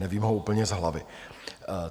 Nevím ho úplně z hlavy.